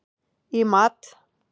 í mat.